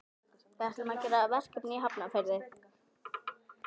Við ætlum að gera verkefni í Hafnarfirði.